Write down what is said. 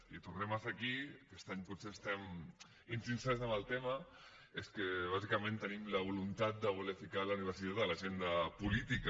i tornem a ser aquí aquest any potser estem insistents en el tema i és que bàsicament tenim la voluntat de voler posar la universitat a l’agenda política